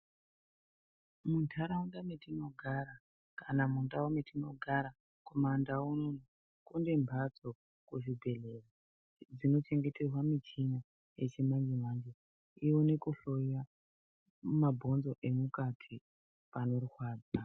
Muntaraunda mwetinogara kana mundau mwetinogara kumandau unono, kune mhatso kuzvibhedhlera dzinochengeterwa michini yechimanje manje ione kuhloya mabhonzo emukati panorwadza.